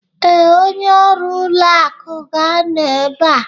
Ee, onye ọrụ ụlọ akụ ga-anọ ebe a.